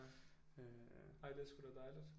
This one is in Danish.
Ej det er sgu da dejligt